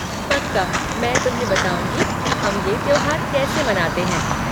पक्का, मैं तुम्हें बताऊँगी कि हम ये त्योहार कैसे मनाते हैं।